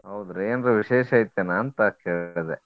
ಹೌದ್ರಿ ಏನ್ರ ವಿಶೇಷ ಇತ್ತ ಏನ ಅಂತ ಕೇಳ್ದೆ.